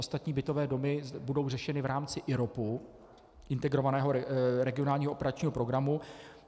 Ostatní bytové domy budou řešeny v rámci IROP, Integrovaného regionálního operačního programu.